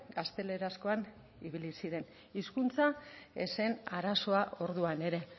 gaztelerazkoan ibili ziren hizkuntza ez zen arazoa orduan ere